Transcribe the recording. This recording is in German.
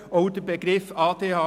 Dies gilt auch für den Begriff «